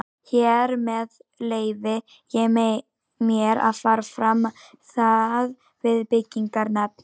Hér með leyfi ég mér, að fara fram á það við byggingarnefnd